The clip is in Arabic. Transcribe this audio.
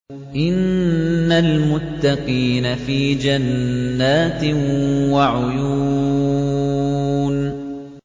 إِنَّ الْمُتَّقِينَ فِي جَنَّاتٍ وَعُيُونٍ